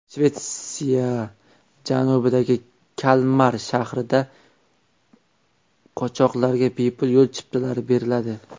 Shvetsiya janubidagi Kalmar shahrida qochoqlarga bepul yo‘l chiptalari beriladi.